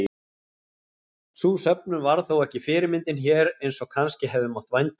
Sú söfnun varð þó ekki fyrirmyndin hér eins og kannski hefði mátt vænta.